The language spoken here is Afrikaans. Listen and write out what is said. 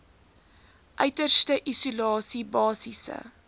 uiterste isolasie basiese